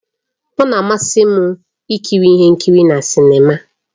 Ọ na-amasị m ikiri ihe nkiri na sinima